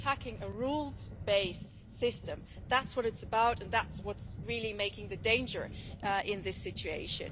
He's attacking a rules based system. That's what it's about and that's what is really making the danger in this situation.